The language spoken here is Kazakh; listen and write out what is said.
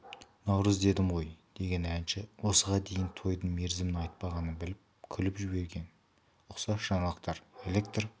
наурыз дедім ғой деген әнші осыған дейін тойдың мерзімін айтпағанын біліп күліп жіберген ұқсас жаңалықтар электр